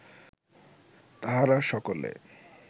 তাহারা সকলে